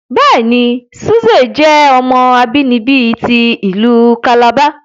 Bẹẹni, Suze jẹ ọmọ abinibi ti ilu Calabar